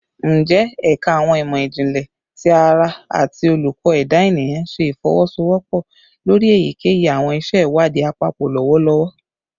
Njẹ Ẹka Awọn imọ-jinlẹ ti ara ati Oluko Eda Eniyan ṣe ifowosowopo lori eyikeyi awọn iṣẹ iwadii apapọ lọwọlọwọ?